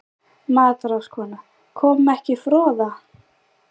MATRÁÐSKONA: Kom ekki froða?